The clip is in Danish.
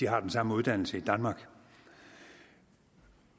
har den samme uddannelse i danmark